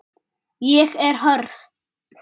Ég er hörð.